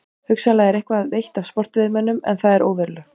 Hugsanlega er eitthvað veitt af sportveiðimönnum en það er óverulegt.